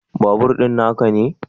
Babur din na ka ne?